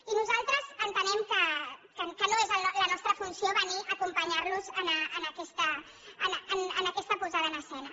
i nosaltres entenem que no és la nostra funció venir a acompanyar los en aquesta posada en escena